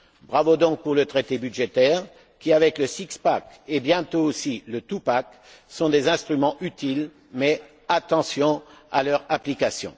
Bravo donc pour le traité budgétaire qui est, avec le six pack et bientôt aussi le two pack, un instrument utile, mais attention à leur application.